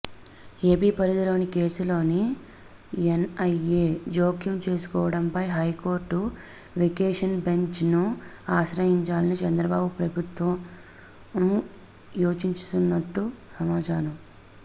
AP పరిధిలోని కేసులో NIA జోక్యం చేసుకోవడంపై హైకోర్టు వేకేషన్ బెంచ్ ను ఆశ్రయించాలని చంద్రబాబు ప్రభుత్వం యోచిస్తున్నట్లు సమాచారం